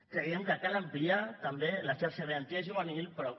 creiem que cal ampliar també la xarxa garantia juvenil però